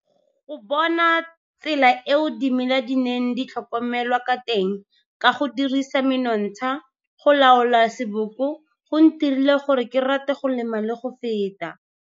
Go bona tsela eo dimela di neng di tlhokomelwa ka teng ka go dirisa menontsha go laola seboko go ntirile gore ke rate go lema le go feta.